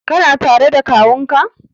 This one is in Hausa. Kana tare da kawunka?